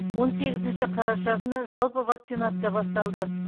он сегізінші қараша күні жалпы вакцинация басталды